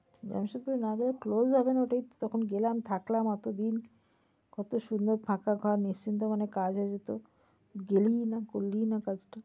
জামশেদপুর না গেলে ওটা close হবে না ওটাই তখন গেলাম থাকলাম অতোদিন কত সুন্দর ফাঁকা ঘর নিশ্চিন্ত মনে কাজ হয়ে যেত। গেলিই না করলি না কাজটা।